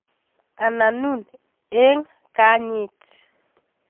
Ananun eng kanyit